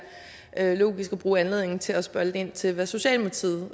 logisk også at bruge anledningen til at spørge lidt ind til hvad socialdemokratiet